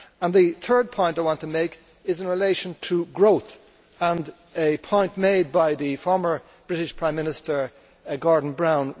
The third point I want to make is in relation to growth, and a point made recently by the former British Prime Minister Gordon Brown.